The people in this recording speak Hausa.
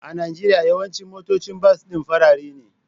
A Najeriya, yawancin motocin bas din farare ne